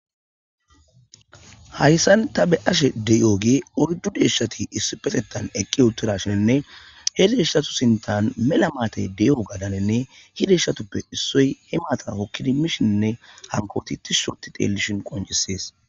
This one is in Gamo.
Hayissan ta be ashe deyooge ordu deeshshati issi petettan eqqi uttuda shinenne he deeshshatu sintan mela maatay dey'o gadanenne hideshatuppe issoy hi maata hokkidi mishinne hankooti tis shoti teellishin qoncisees